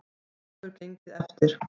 Það hefur gengið eftir.